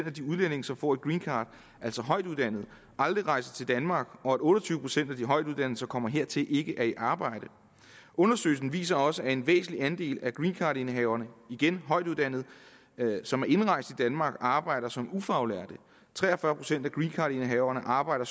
af de udlændinge som får et greencard altså højtuddannede aldrig rejser til danmark og at otte og tyve procent af de højtuddannede som kommer hertil ikke er i arbejde undersøgelsen viser også at en væsentlig andel af greencardindehaverne igen højtuddannede som er indrejst til danmark arbejder som ufaglærte tre og fyrre procent af greencardindehaverne arbejder